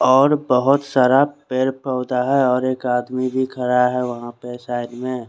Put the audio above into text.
और बोहोत सारा पेड़ पोधा है और एक आदमी भी खड़ा है वहा पर साइड में --